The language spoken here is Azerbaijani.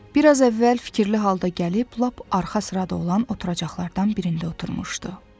Bir az əvvəl fikirli halda gəlib lap arxa sırada olan oturacaqlardan birində oturmuşdu.